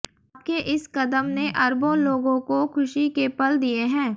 आपके इस कदम ने अरबों लोगों को खुशी के पल दिए हैं